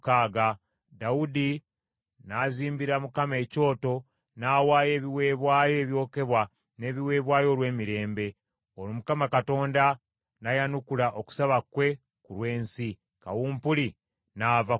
Dawudi n’azimbira Mukama ekyoto n’awaayo ebiweebwayo ebyokebwa n’ebiweebwayo olw’emirembe. Olwo Mukama Katonda n’ayanukula okusaba kwe ku lw’ensi, kawumpuli n’ava ku Isirayiri.